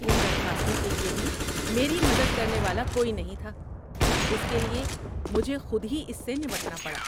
ان درخواستوں کے لیے بھی میری مدد کرنے والا کوئی نہیں تھا، اس لیے مجھے خود ہی اس سے نمٹنا پڑا۔